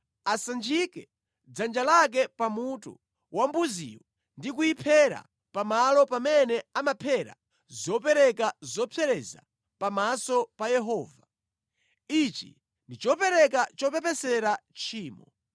Asanjike dzanja lake pa mutu wa mbuziyo ndi kuyiphera pamalo pamene amaphera zopereka zopsereza pamaso pa Yehova. Ichi ndi chopereka chopepesera tchimo.